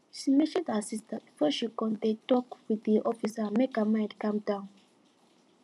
she message her sister before she come dey tok with de officer make her mind calm down